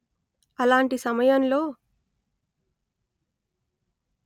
అలాంటి సమయంలో